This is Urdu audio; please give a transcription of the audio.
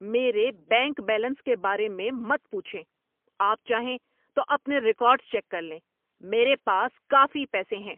میرے بینک بیلنس کے بارے میں مت پوچھیں۔ آپ چاہیں تو اپنے ریکارڈز چیک کر لیں۔ میرے پاس کافی پیسے ہیں۔